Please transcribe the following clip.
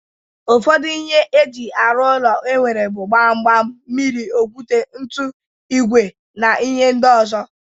Ụfọdụ ihe eji arụ ụlọ enwere bụ Gbam gbam, mmiri, okwute, ntu, ìgwè na ihe ndị ọzọ